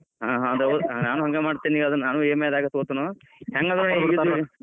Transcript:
ಹಾ ನಾನೂ ಹಂಗ್ ಮಾಡ್ತೇನಿ ಈಗ ಅದನ್ EMI ದಾಗ್ ತೊಗೋತೇನು ಹೆಂಗ್ .